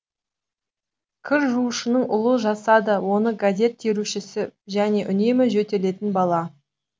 кір жуушының ұлы жасады оны газет терушісі және үнемі жөтелетін бала